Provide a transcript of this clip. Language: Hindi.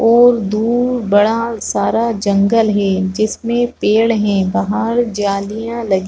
और दूर बड़ा सारा जंगल है जिसमें पेड़ हैं बहार जालियां लगी --